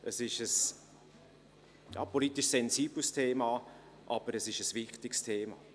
Es ist ein politisch sensibles, aber wichtiges Thema.